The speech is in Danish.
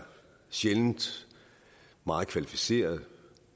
sjældent meget kvalificeret